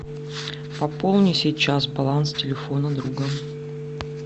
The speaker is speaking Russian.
пополни сейчас баланс телефона друга